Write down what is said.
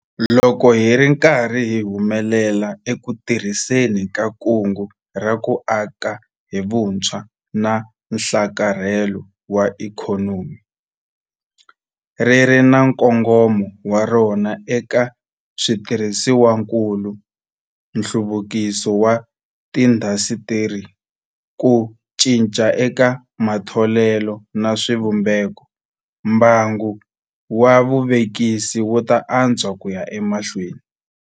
Loko hi ri karhi hi humelela eku tirhiseni ka Kungu ra ku Aka hi Vutshwa na Nhlakarhelo wa Ikhonomi - ri ri na nkongomo wa rona eka switirhisiwakulu, nhluvukiso wa tiindasitiri, ku cinca eka matholelo na swivumbeko - mbangu wa vuvekisi wu ta antswa ku ya emahlweni.